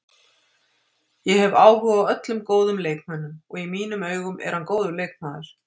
Ég hef áhuga á öllum góðum leikmönnum, og í mínum augum er hann góður leikmaður.